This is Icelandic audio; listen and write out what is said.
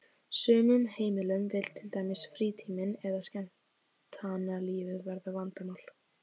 sumum heimilum vill til dæmis frítíminn eða skemmtanalífið verða vandamál.